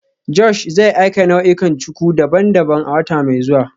Josh zai aika nau'ikan cuku daban-daban a wata mai zuwa